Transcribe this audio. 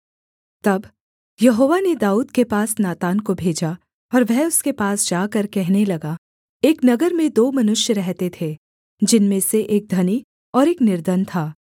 तब यहोवा ने दाऊद के पास नातान को भेजा और वह उसके पास जाकर कहने लगा एक नगर में दो मनुष्य रहते थे जिनमें से एक धनी और एक निर्धन था